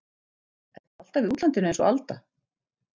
Ertu alltaf í útlandinu einsog Alda?